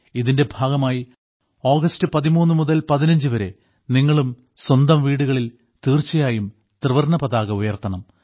ഇതിന്റെ ഭാഗമായി ആഗസ്റ്റ് 13 മുതൽ 15 വരെ നിങ്ങളും സ്വന്തം വീടുകളിൽ തീർച്ചയായും ത്രിവർണ്ണ പതാക ഉയർത്തണം